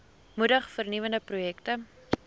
moedig vernuwende projekte